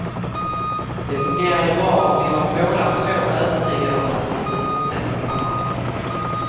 Det fungerade bra och vi var båda två övertygade om att vi skulle fortsätta samarbetet.